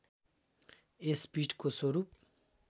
यस पीठको स्वरूप